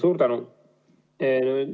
Suur tänu!